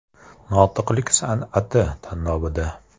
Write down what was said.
“Notiqlik san’ati” tanlovida.